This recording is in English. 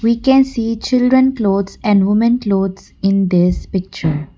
we can see children clothes and women clothes in this picture.